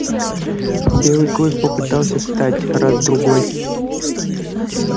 белый клык попытался встать раз другой